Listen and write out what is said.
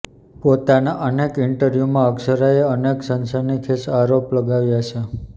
પોતાના અનેક ઇન્ટરવ્યૂમાં અક્ષરાએ અનેક સનસનીખેજ આરોપ લગાવ્યા છે